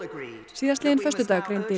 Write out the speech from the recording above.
síðastliðinn föstudag greindi